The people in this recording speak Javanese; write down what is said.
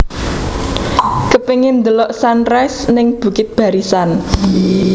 Kepingin ndelok sunrise ning Bukit Barisan